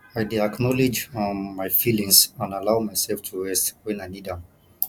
i dey acknowledge um my feelings and allow myself to rest when i need am